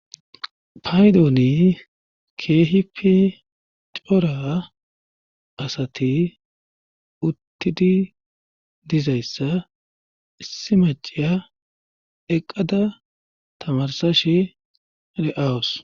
Paydooni kehipi cora asati uttidi dizayssa issi maciya eqqada tamarsa shi de7awus